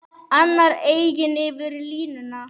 Annars eigin yfir línuna.